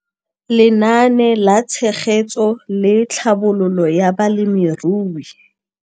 Lenaane la Tshegetso le Tlhabololo ya Balemirui